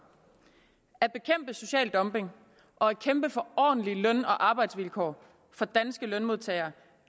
at bekæmpe social dumping og at kæmpe for ordentlige løn og arbejdsvilkår for danske lønmodtagere